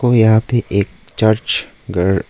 यह पे एक चर्च घर--